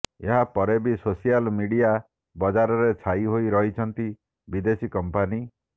ଏହା ପରେ ବି ସୋସିଆଲ୍ ମିଡିଆ ବଜାରରେ ଛାଇ ହୋଇ ରହିଛନ୍ତି ବିଦେଶୀ କମ୍ପାନୀ